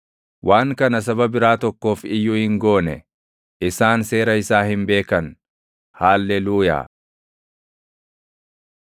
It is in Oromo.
Waan kana saba biraa tokkoof iyyuu hin goone; isaan seera isaa hin beekan. Haalleluuyaa.